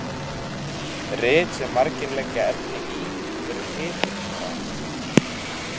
Rit sem margir leggja efni í eru titilskráð.